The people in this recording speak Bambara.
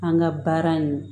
An ka baara in